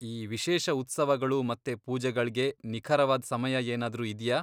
ಈ ವಿಶೇಷ ಉತ್ಸವಗಳು ಮತ್ತೆ ಪೂಜೆಗಳ್ಗೆ ನಿಖರವಾದ್ ಸಮಯ ಏನಾದ್ರೂ ಇದ್ಯಾ?